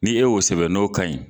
Ni ye o sɛbɛn n'o ka ɲi